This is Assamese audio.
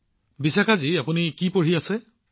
প্ৰধানমন্ত্ৰীঃ বিশাখা জী আপুনি কি অধ্যয়ন কৰে